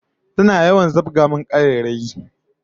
Tana yawan zabga min karairayi